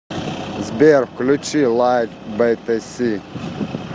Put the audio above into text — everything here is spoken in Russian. сбер включи лайт бэтэси